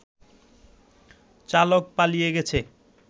চালক পালিয়ে গেছে